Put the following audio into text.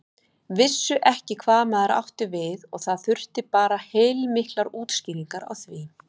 Vissu ekki hvað maður átti við og það þurfti bara heilmiklar útskýringar á því.